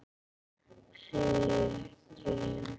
Því ekki?